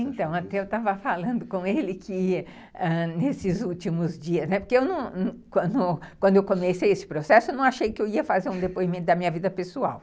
Então, até eu estava falando com ele que, ãh, nesses últimos dias, né, porque quando eu comecei esse processo, não achei que eu ia fazer um depoimento da minha vida pessoal.